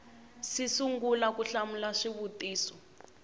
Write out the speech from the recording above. si sungula ku hlamula swivutiso